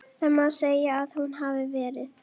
Það má segja að hún hafi verið.